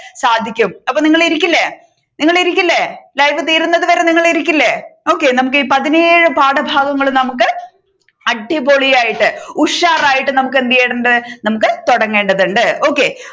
സാധിക്കും അപ്പൊ നിങ്ങൾ ഇരിക്കില്ലേ നിങ്ങൾ ഇരിക്കില്ലേ ലൈവ് തീരുന്നത് വരെ നിങ്ങൾ ഇരിക്കില്ലേ okay നമ്മുക്ക് ഈ പതിനേഴ് പാഠഭാഗങ്ങളും നമ്മുക്ക് അടിപൊളിയായിട്ട് ഉഷാറായിട്ട് നമ്മുക് എന്ത് ചെയ്യേണ്ടതുണ്ട് നമ്മുക് തുടങ്ങേണ്ടതുണ്ട് okay